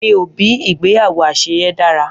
Mi obi igbeyawo aseye dara.